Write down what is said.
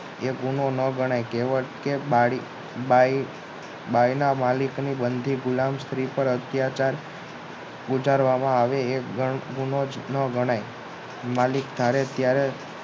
એ ગુનો ન ગણાય કહેવાય કે બારીક બાઈ ના માલિકની બંધી ગુલામી પર હત્યાચાર ગુજારવામાં આવે પણ ગુનોજ ન ગણાય માલિક ધારે ત્યારે